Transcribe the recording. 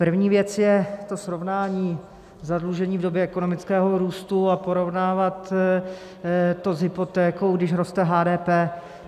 První věc je to srovnání zadlužení v době ekonomického růstu, a porovnávat to s hypotékou, když roste HDP.